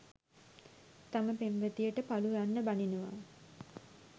තම පෙම්වතියට පලු යන්න බනිනවා.